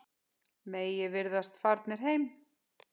Margir virðast farnir heim.